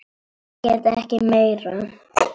Ég get ekki meira.